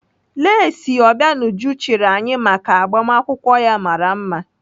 Lesị Obianuju chịrị anyị maka agbamakwụkwọ ya mara mma.